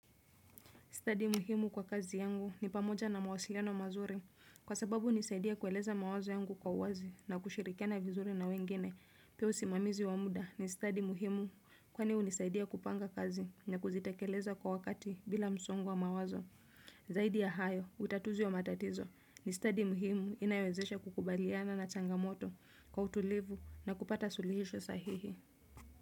Study muhimu kwa kazi yangu ni pamoja na mawasiliano mazuri. Kwa sababu hunisaidia kueleza mawazo yangu kwa uwazi na kushirikiana vizuri na wengine. Pia usimamizi wa muda ni study muhimu. Kwani hunisaidia kupanga kazi na kuzitekeleza kwa wakati bila msongo wa mawazo. Zaidi ya hayo, utatuzi wa matatizo ni study muhimu inayowezesha kukubaliana na changamoto kwa utulivu na kupata suluhisho sahihi.